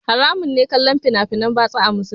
Haramun ne kallon fina finan batsa a musulunci